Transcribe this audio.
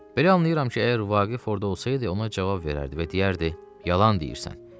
Belə anlayıram ki, əgər Vaqif orda olsaydı, ona cavab verərdi və deyərdi: yalan deyirsən.